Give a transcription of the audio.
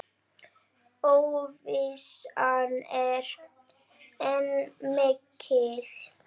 Óvissan er enn mikil.